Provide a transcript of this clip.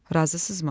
Razısınızmı?